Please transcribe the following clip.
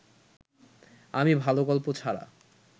আমি ভালো গল্প ছাড়া